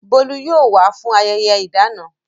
Bolu yóò wá fún ayẹyẹ ìdáná.